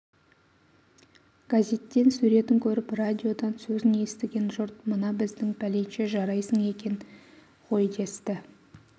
газеттен суретін көріп радиодан сөзін естіген жұрт мына біздің пәленше жарайсың екен ғой десті